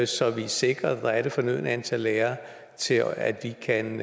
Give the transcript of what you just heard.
så vi er sikret at der er det fornødne antal lærere til at vi kan